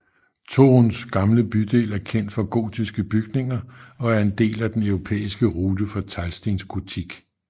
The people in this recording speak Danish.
Toruns gamle bydel er kendt for gotiske bygninger og er en del af Den europæiske rute for teglstensgotik